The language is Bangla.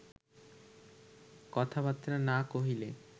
কথাবার্তা না কহিলে